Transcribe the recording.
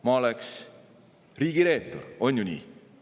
Ma oleksin riigireetur, on ju nii?